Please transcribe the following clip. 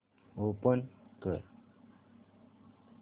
open कर